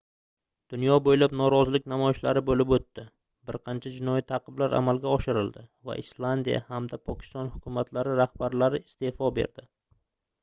dunyo boʻylab norozilik namoyishlari boʻlib oʻtdi bir qancha jinoiy taʼqiblar amalga oshirildi va islandiya hamda pokiston hukumatlari rahbarlari isteʼfo berdi